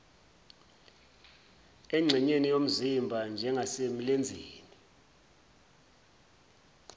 engxenyeni yomzimba njengasemlenzeni